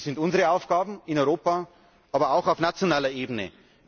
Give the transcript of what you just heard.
Das sind unsere Aufgaben in Europa, aber auch auf nationaler Ebene.